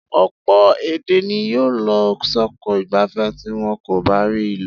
Ọ̀pọ̀ èdè ni yóò lọ sóko ìgbàgbé tí wọ́n kò bá rí ìlò.